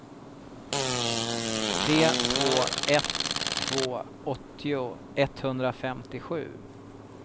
tre två ett två åttio etthundrafemtiosju